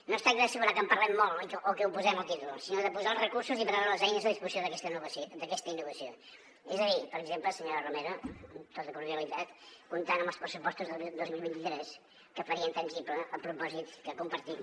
no es tracta d’assegurar que en parlem molt o que ho posem al títol sinó de posar els recursos i preveure les eines a disposició d’aquesta innovació és a dir per exemple senyora romero amb tota cordialitat comptant amb els pressupostos dos mil vint tres que farien tangible el propòsit que compartim